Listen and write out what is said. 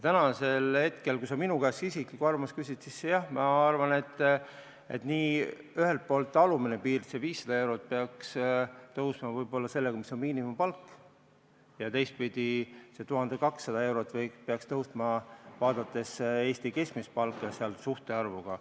Kui sa minu isiklikku arvamust küsid, siis jah, ma arvan, et ühelt poolt alumine piir, see 500 eurot, peaks tõusma, võib-olla selleni, mis on miinimumpalk, ja teistpidi see 1200 eurot peaks tõusma, vaadates Eesti keskmist palka suhtarvuna.